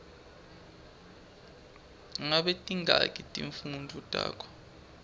ngabe tingaki timfundvo takho